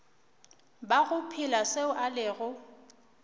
bago phela seo a lego